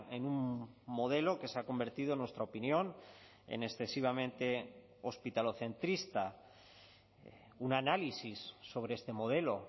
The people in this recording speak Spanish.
en un modelo que se ha convertido en nuestra opinión en excesivamente hospitalocentrista un análisis sobre este modelo